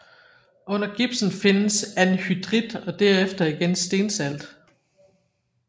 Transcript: Under gipsen findes anhydrit og derunder igen stensalt